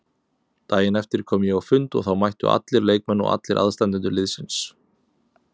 Daginn eftir kom ég á fund og þá mættu allir leikmenn og allir aðstandendur liðsins.